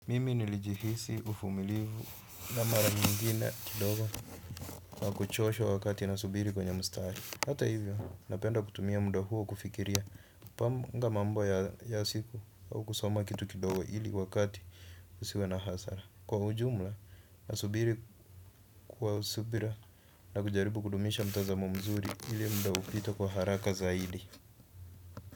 Mimi nilijihisi uvumilivu na mara nyingine kidogo kwa kuchoshwa wakati na subiri kwenye mstari hata hivyo, napenda kutumia muda huo kufikiria kupanga mambo ya siku au kusoma kitu kidogo ili wakati usiwe na hasara kwa ujumla, na subiri kwa subira na kujaribu kudumisha mtazamo mzuri ili muda upite kwa haraka zaidi.